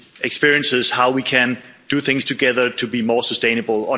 experience of how we can do things together to be more sustainable.